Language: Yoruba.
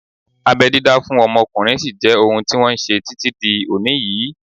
Abẹ́ dídá fún ọmọkùnrin sí jẹ́ ohun tí wọ́n ṣe títí di òní yìí